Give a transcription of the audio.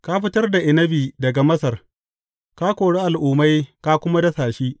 Ka fitar da inabi daga Masar; ka kori al’ummai ka kuma dasa shi.